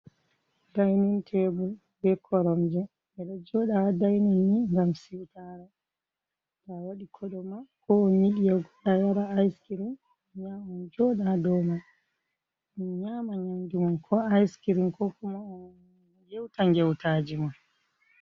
Dainin tebur be koromje ɓe ɗo joda dainin ni ngam siutara ta wadi koɗo ma ko on yidi yeutogo a yara iskirin on ha ya on joda ha dow mai on nyama nyanduman ko iskirin ko kuma on yeuta ngeutajima.